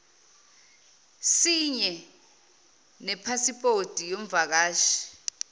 sinye nepasipoti yomvakashi